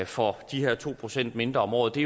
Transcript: for de her to procent mindre om året det